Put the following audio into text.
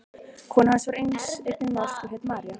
Kona hans var einnig norsk og hét María.